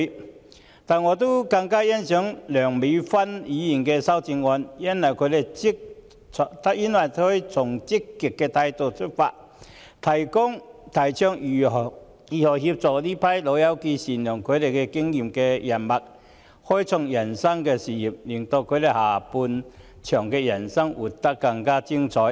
然而，我更欣賞梁美芬議員的修正案，因為她從積極的角度出發，提倡如何協助這群"老友記"善用他們的經驗人脈，開創人生的事業，令他們人生的下半場活得更精彩。